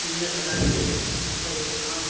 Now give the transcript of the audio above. pillar बना के ऊपर एक नाम--